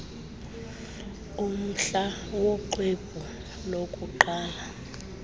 umhla woxwebhu lokuqala